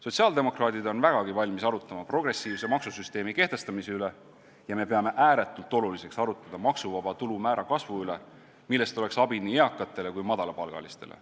Sotsiaaldemokraadid on vägagi valmis arutama progressiivse maksusüsteemi kehtestamise üle ja me peame ääretult oluliseks arutada maksuvaba tulu määra kasvu üle, millest oleks abi nii eakatele kui madalapalgalistele.